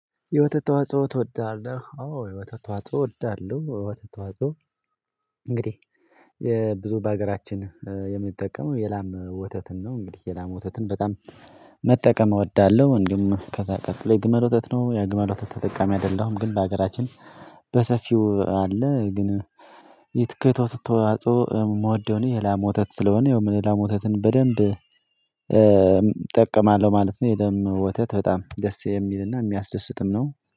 የወተት ተዋጽኦ ትወዳለህ? አዎ የወተት ተዋጽኦ እወዳለሁ የወተት ተዋጽኦ እንግዲህ ብዙ በሀገራችን የምንጠቀመው የላም ወተትን ነው። እንግዲህ የላም ወተትን በጣም መጠቀም እወዳለሁ እንዲሁም ከዛ ቀጥሎ የግመል ወተት ነው። የግመል ወተት ተጠቃሚ አይደለሁም፤ ግን በሀገራችን በሰፊው አለ ግን ከወተት ተዋጻኦ የምወደው እኔ የላም ወተት ስለሆነ የላም ወተትን በደንብ እጠቀማለሁ ማለት ነው የላም ወተት በጣም ደስ የሚልና የሚያስደስትም ነው።